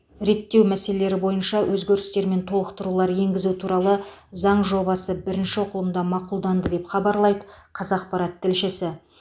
реттеу мәселелері бойынша өзгерістер мен толықтырулар енгізу туралы заң жобасы бірінші оқылымда мақұлданды деп хабарлайды қазақпарат тілшісі